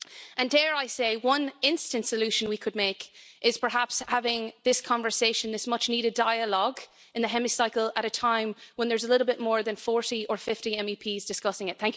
And dare I say, one instant solution we could make is perhaps having this conversation, this much needed dialogue, in the Hemicycle at a time when there's a little bit more than 40 or 50 MEPs discussing it.